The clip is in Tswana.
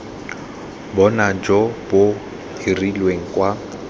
bonno jo bo hirilweng kwa